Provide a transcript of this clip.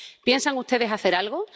¿Piensan ustedes hacer algo?